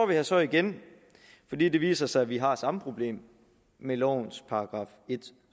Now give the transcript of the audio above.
her så igen fordi det viser sig at vi har samme problem med lovens § en